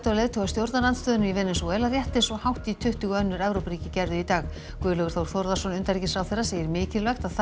leiðtoga stjórnarandstöðunnar í Venesúela rétt eins og hátt í tuttugu önnur Evrópuríki gerðu í dag Guðlaugur Þór Þórðarson utanríkisráðherra segir mikilvægt að þar